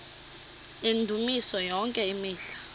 yendumiso yonke imihla